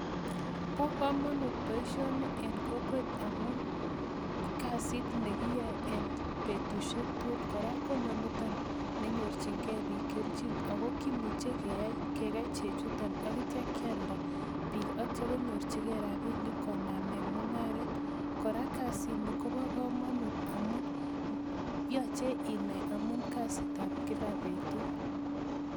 Bo kamanut boisioni en kokwet amun kasit nekiyoe en betusiek tugul kora ko inoniton nenyorchingei biik kelchin ako kimuche kekei chechuton akitya kyalda biik konyorchigei rapinik koname mung'aret. Kora kasit ni kobo kamanut amun yoche inai amun aksit ab kila betut.